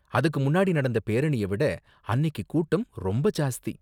அதுக்கு முன்னாடி நடந்த பேரணிய விட அன்னிக்கு கூட்டம் ரொம்ப ஜாஸ்தி.